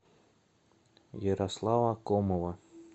ярослава комова